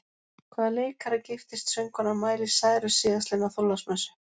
Hvaða leikara giftist söngkonan Miley Cyrus síðastliðna þorláksmessu?